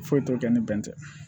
Foyi t'o kɛ ni bɛn tɛ